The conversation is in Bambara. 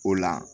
O la